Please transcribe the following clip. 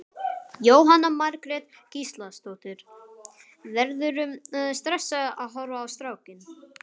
Jóhanna Margrét Gísladóttir: Verðurðu stressaður að horfa á strákinn?